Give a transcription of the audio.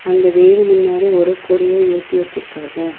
அந்த வீடு முன்னாடி ஒரு கொடிய ஏத்தி வச்சுருக்காங்க.